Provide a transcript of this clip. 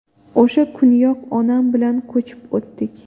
O‘sha kuniyoq, onam bilan ko‘chib o‘tdik.